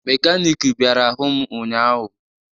Mekaniiki bịara hụ m ụnyaahụ